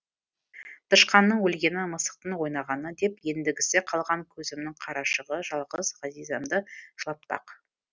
тышқанның өлгені мысықтың ойнағаны деп ендігісі қалған көзімнің қарашығы жалғыз ғазизамды жылатпақ